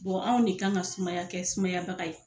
anw de kan ka kɛ sumaya kɛ sumayabaga ye.